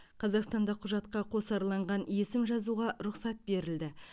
қазақстанда құжатқа қосарланған есім жазуға рұқсат берілді